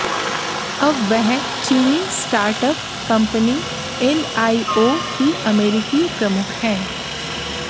अब वह चीनी स्टार्टअप कंपनी एनआईओ की अमेरिकी प्रमुख हैं